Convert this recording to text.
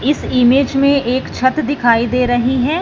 इस इमेज में एक छत दिखाई दे रही है।